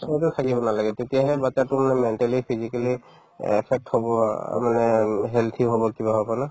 তাৰপিছতো থাকিব নালাগে তেতিয়াহ'লে batches তোৰ মানে mentally physically affect হ'ব বা মানে উম healthy হ'ব কিবা হ'ব না